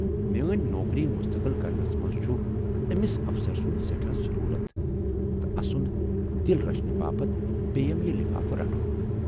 میٲنۍ نوکری مستقل کرنَس منز چھُ ٲمِس افسر سُند سٮ۪ٹھاہ ضروٗرت تہٕ اَسُند دِل رچھنہٕ باپتھ پییَم یہِ لِفافہٕ رٹُن۔